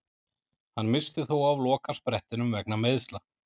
Hann missti þó af lokasprettinum vegna meiðsla.